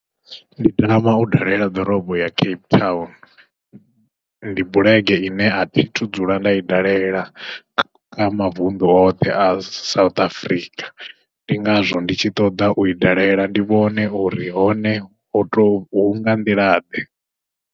Ndi tama u dalela ḓorobo ya Cape Town ndi bulege ine athi thu dzula nda i dalela kha mavuṋdu oṱhe a South Africa, ndi ngazwo ndi tshi ṱoḓa ui dalela ndi vhone uri hone ho to hunga nḓila ḓe.